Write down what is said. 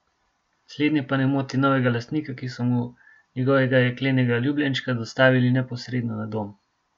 Slednje pa ne moti novega lastnika, ki so mu njegovega jeklenega ljubljenčka dostavili neposredno na dom.